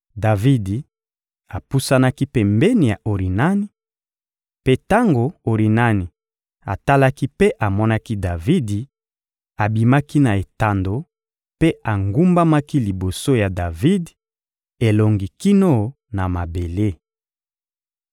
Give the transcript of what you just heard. Davidi apusanaki pembeni ya Orinani; mpe tango Orinani atalaki mpe amonaki Davidi, abimaki na etando mpe agumbamaki liboso ya Davidi, elongi kino na mabele.